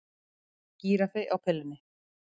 Gíraffi á pillunni